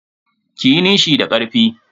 Kiyi nishi da karfi.